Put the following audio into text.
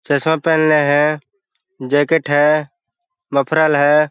चश्मा पेहनले है जैकेट है मफरल है ।